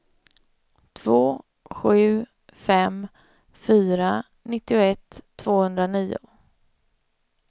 två sju fem fyra nittioett tvåhundranio